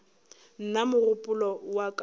nna mogopolo wa ka o